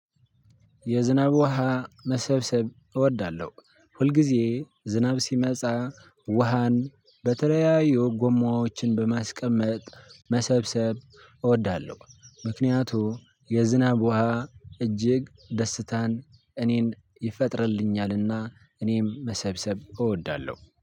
የዝናብ ውሃ መሰብሰብ እወዳለሁ ሁልጊዜ ዝናብ ሲመጻ ውሃን በተለያዩ ጎማዎችን በማስቀመጥ መሰብሰብ እወዳለሁ ምክንያቱ የዝናብ ውሃ እጅግ ደስታን እኔን ይፈጥርልኛል። እና እኔም መሰብሰብ እወዳለሁ